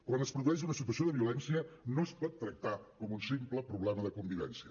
quan es produeix una situació de violència no es pot tractar com un simple problema de convivència